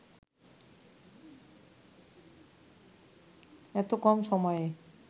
এত কম সময়ে